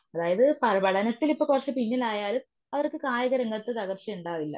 അതായത് പട പഠനത്തിലിപ്പോൾ കുറച്ചു പിന്നിലായാലും അവർക്ക് കായികരംഗത് തകർച്ചയുണ്ടാവില്ല.